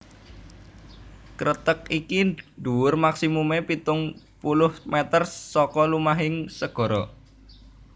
Kreteg iki dhuwur maksimumé pitung puluh mèter saka lumahing segara